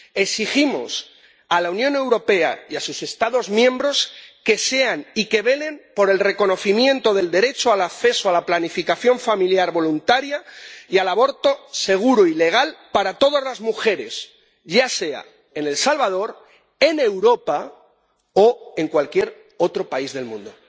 Exigimos a la Unión Europea y a sus Estados miembros que sean y que velen por el reconocimiento del derecho al acceso a la planificación familiar voluntaria y al aborto seguro y legal para todas las mujeres, ya sea en El Salvador, en Europa, o en cualquier otro país del mundo.